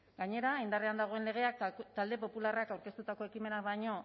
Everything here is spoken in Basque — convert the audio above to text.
gainera indarrean dagoen legeak talde popularrak aurkeztutako ekimena baino